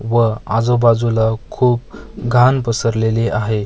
व आजूबाजूला खूप घाण पसरलेली आहे.